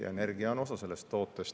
Ja energia on osa sellest.